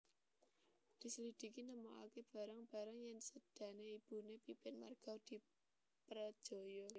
Dislidhiki nemokaké barang barang yèn sédané ibuné Pipin marga diprejaya